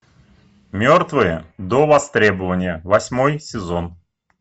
мертвые до востребования восьмой сезон